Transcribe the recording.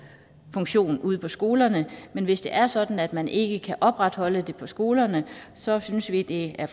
funktion ude på skolerne men hvis det er sådan at man ikke kan opretholde det på skolerne så synes vi det er